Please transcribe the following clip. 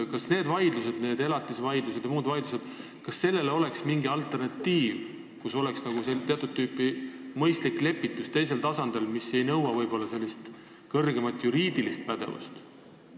Kas nendele vaidlustele – elatisvaidlustele ja muudele vaidlustele – oleks mingi alternatiiv, mis seisneks nagu teatud tüüpi mõistlikus lepituses teisel tasandil, mis ei nõua kõrgemat juriidilist pädevust?